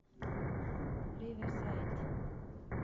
риверсайд